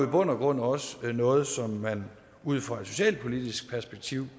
bund og grund også noget som man ud fra et socialpolitisk perspektiv